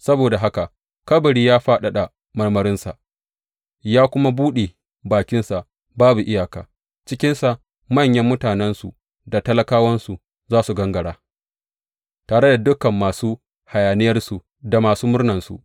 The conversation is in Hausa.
Saboda haka kabari ya fadada marmarinsa ya kuma buɗe bakinsa babu iyaka; cikinsa manyan mutanensu da talakawansu za su gangara tare da dukan masu hayaniyarsu da masu murnansu.